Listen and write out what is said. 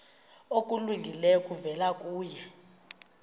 okulungileyo kuvela kuye